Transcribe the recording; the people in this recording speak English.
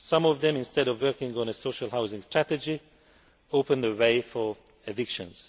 Some of them, instead of working on a social housing strategy, open the way for evictions.